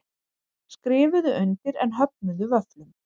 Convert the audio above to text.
Skrifuðu undir en höfnuðu vöfflum